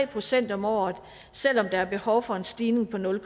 procent om året selv om der er behov for en stigning på nul